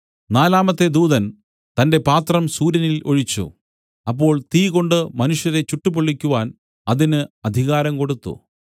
നാലാമത്തെ ദൂതൻ തന്റെ പാത്രം സൂര്യനിൽ ഒഴിച്ചു അപ്പോൾ തീകൊണ്ട് മനുഷ്യരെ ചുട്ടുപൊള്ളിക്കുവാൻ അതിന് അധികാരം കൊടുത്തു